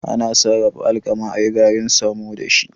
Ana Sarrafa alkama ayi garin samo dashi